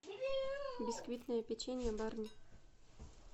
бисквитное печенье барни